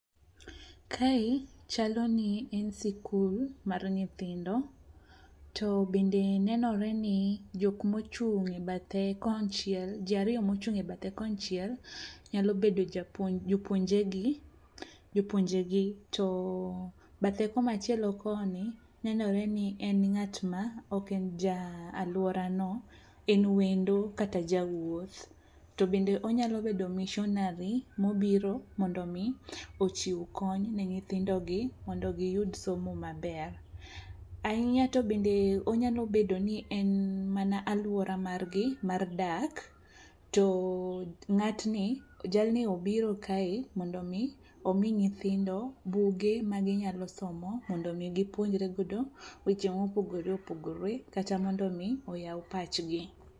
Kae chalo ni en sikul mar nyithindo, to bende nenore ni ji ariyo mochung' e bathe konchiel nyalo bedo jopuonjegi to bathe komachielo koni nenore ni en ng'atma oken ja alworano en wendo kata jawuoth to bende onyalo bedo missionary mobiro mondo omi ochiw kony ne nyithindogi mondo giyud somo maber. Ahinya to bende onyalo bedo ni en mana alwora margi mar dak to jalni obiro kae mondo omi omi nyithindo buge maginyalo somo mondo omi gipuonjre godo weche mopogore opogore kata mondo omi oyaw pachgi.